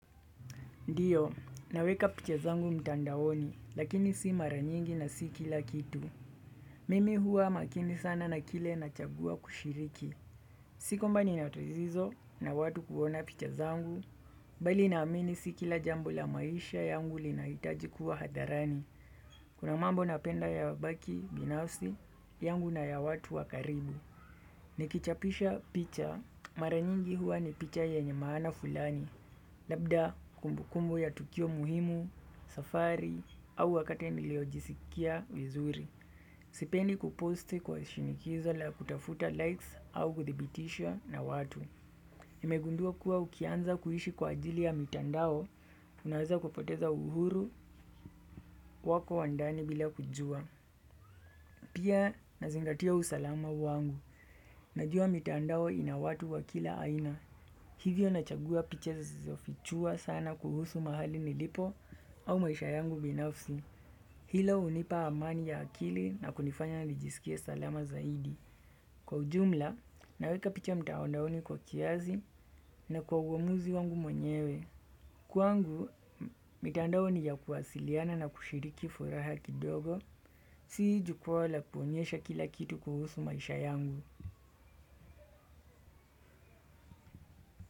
Ndiyo, naweka picha zangu mtandaoni, lakini si mara nyingi na si kila kitu. Mimi huwa makini sana na kile nachagua kushiriki. Si kwamba ni natatizo na watu kuona picha zangu, bali naamini si kila jambo la maisha yangu linahitaji kuwa hadharani. Kuna mambo napenda ya baki, binafsi, yangu na ya watu wa karibu. Nikichapisha picha, mara nyingi huwa ni picha yenye maana fulani. Labda kumbukumbu ya tukio muhimu, safari, au wakati niliojisikia vizuri. Sipendi kuposti kwa shinikizo la kutafuta likes au kuthibitishwa na watu. Nimegundua kuwa ukianza kuishi kwa ajili ya mitandao, unaweza kupoteza uhuru wako wa ndani bila kujua. Pia nazingatia usalama wangu. Najua mitandao ina watu wa kila aina. Hivyo na chagua picha zisizofichua sana kuhusu mahali nilipo au maisha yangu binafsi. Hilo hunipa amani ya akili na kunifanya nijisikie salama zaidi. Kwa ujumla, naweka picha mtaondaoni kwa kiasi na kwa uamuzi wangu mwenyewe. Kwangu, mitandao ni ya kuwasiliana na kushiriki furaha kidogo. Si jukwaa la kuonyesha kila kitu kuhusu maisha yangu.